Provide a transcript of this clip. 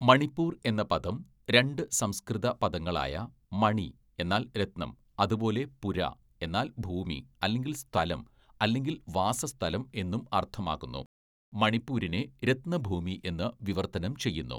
മണിപ്പൂർ എന്ന പദം രണ്ട് സംസ്‌കൃത പദങ്ങളായ മണി എന്നാൽ രത്നം, അതുപോലെ പുര, എന്നാൽ ഭൂമി അല്ലെങ്കില്‍ സ്ഥലം അല്ലെങ്കില്‍ വാസസ്ഥലം എന്നും അർത്ഥമാക്കുന്നു, മണിപ്പൂരിനെ 'രത്നഭൂമി' എന്ന് വിവർത്തനം ചെയ്യുന്നു.